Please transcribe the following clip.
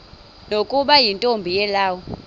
nokuba yintombi yelawu